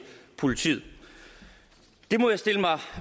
politiet det må jeg stille mig